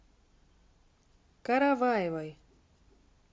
караваевой